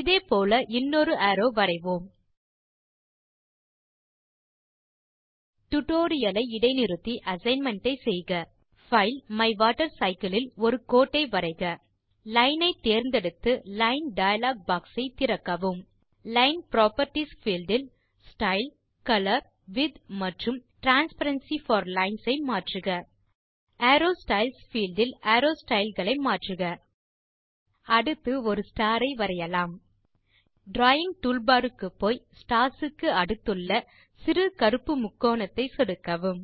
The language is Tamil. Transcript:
இதே போல இன்னொரு அரோவ் வரைவோம் டியூட்டோரியல் ஐ இடை நிறுத்தி அசைன்மென்ட் ஐ செய்க பைல் மைவாட்டர்சைக்கிள் இல் ஒரு கோட்டை வரைக லைன் ஐ தேர்ந்தெடுத்து லைன் டயலாக் பாக்ஸ் ஐ திறக்கவும் லைன் புராப்பர்ட்டீஸ் பீல்ட் இல் ஸ்டைல் கலர் விட்த் மற்றும் டிரான்ஸ்பரன்சி போர் லைன்ஸ் ஐ மாற்றுக அரோவ் ஸ்டைல்ஸ் பீல்ட் இல் அரோவ் ஸ்டைல் களை மாற்றுக அடுத்து ஒரு ஸ்டார் ஐ வரையலாம் டிராவிங் டூல்பார் க்கு போய் ஸ்டார்ஸ் க்கு அடுத்துள்ள சிறு கருப்பு முக்கோணத்தை சொடுக்கவும்